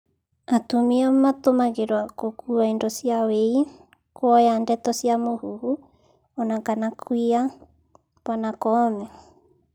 "Atumia matũmagĩrwa gũkua indo cia wĩi, kwoya ndeto cia mũhũhũ ona kana kwiya,"Bw Koome